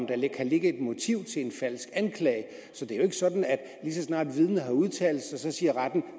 kan ligge et motiv til en falsk anklage så det er jo ikke sådan at lige så snart et vidne har udtalt sig siger retten at